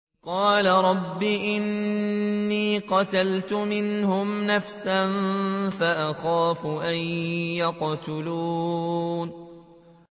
قَالَ رَبِّ إِنِّي قَتَلْتُ مِنْهُمْ نَفْسًا فَأَخَافُ أَن يَقْتُلُونِ